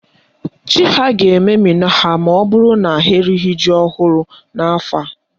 Chi ha ga-ememina ha maọbụrụ na ha erighi ji ọhụrụ n'afọ a.